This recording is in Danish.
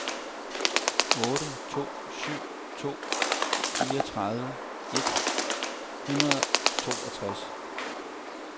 otte to syv to fireogtredive et hundrede og toogtres